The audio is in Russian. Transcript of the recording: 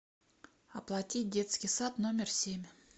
оплатить детский сад номер семь